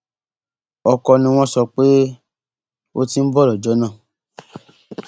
ọkọ ni wọn sọ pé ó ti ń bọ lọjọ náà